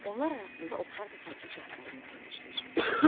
Onlar arasında oxşar və fərqli cəhətləri müəyyənləşdir.